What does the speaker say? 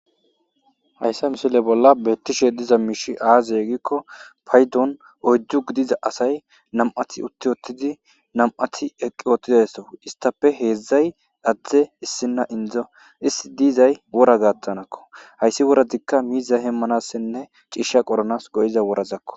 Haysa misile bolla beeththishe diza miishshi aazee giikko paydon oyddu gidiza asathi nam7athi uththi7uththidi nam7athi eqqi woththizaysakko; isththappe heezzay adde issinna inddo; izi diizay wora gaththanakko; hayssi worathikka miizza heemmanassinne ciishsha qoranaas go7iza woraza koo.